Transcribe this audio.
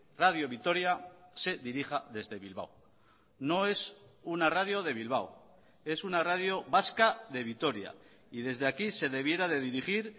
radio vitoria se dirija desde bilbao no es una radio de bilbao es una radio vasca de vitoria y desde aquí se debiera de dirigir